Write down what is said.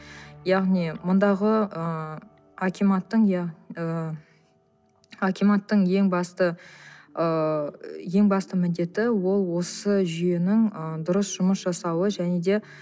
яғни мұндағы ыыы акиматтың иә і акиматтың ең басты ыыы ең басты міндеті ол осы жүйенің ы дұрыс жұмыс жасауы және де